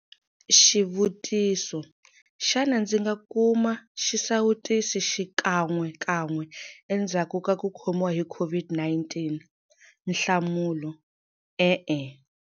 Xivutiso- Xana ndzi nga kuma xisawutisi xikan'wekan'we endzhaku ka ku khomiwa hi COVID-19? Nhlamulo, E-e.